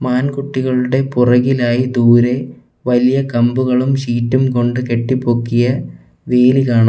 ആൺകുട്ടികളുടെ പുറകിലായി ദൂരെ വലിയ കമ്പുകളും ഷീറ്റും കൊണ്ട് കെട്ടിപ്പൊക്കിയ വീല് കാണാം.